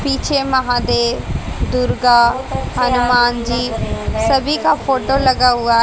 पीछे महादेव दुर्गा हनुमान जी सभी का फोटो लगा हुआ--